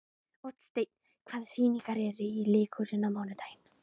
Oddsteinn, hvaða sýningar eru í leikhúsinu á mánudaginn?